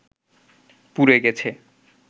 পুড়ে গেছে